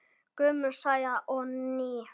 Gömul saga og ný.